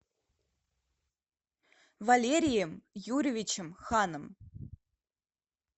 валерием юрьевичем ханом